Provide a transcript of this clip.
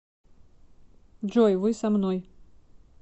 джой вы со мной